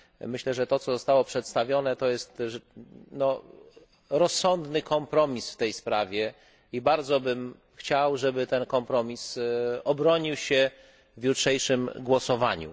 Myślę, że to, co zostało przedstawione, to rozsądny kompromis w tej sprawie, i bardzo bym chciał, aby ten kompromis obronił się w jutrzejszym głosowaniu.